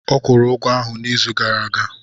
Ọ kwụrụ ụgwọ ahụ n'izu gara aga.